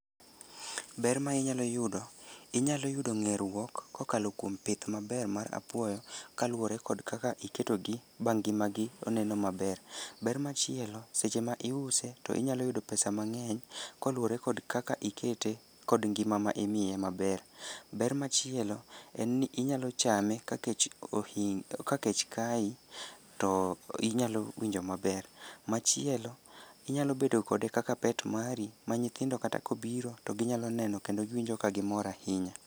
Ber ma inyalo yudo: inyalo yudo ng'e ruok kokalo kuom pith maber mar apuoyo kaluwore kod kaka iketogi ba ngima gi oneno maber. Ber machielo, seche ma iuse to inyalo yudo pesav mang'eny koluwore kod kaka ikete kod ngima ma imiye maber. Ber machielo en ni inyalo chame ka kech ohin ka kech kayi to inyalo winjo maber. Machielo, inyalo bedo kode kaka pet mari, ma nyithindo kata kobiro to ginyalo neno kendo giwinjo ka gimor ahinya.